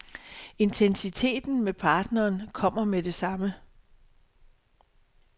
Intensiteten med partneren kommer med det samme.